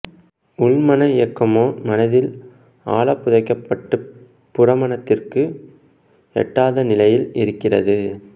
உள்மன இயக்கமோ மனதில் ஆழப் புதைக்கப்பட்டுப் புறமனதிற்கு எட்டாத நிலையில் இருக்கிறது